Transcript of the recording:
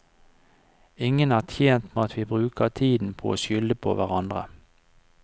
Ingen er tjent med at vi bruker tiden på å skylde på hverandre.